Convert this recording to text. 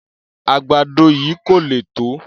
Àgbàdo yìí kò le tó.